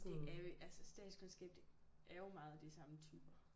Det er vi altså statskundskab det er jo meget de samme typer